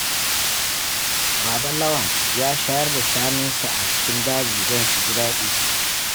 Baba Lawan ya shayar da shanunsa a cikin daji don su ji daɗi.